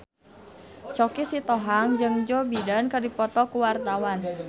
Choky Sitohang jeung Joe Biden keur dipoto ku wartawan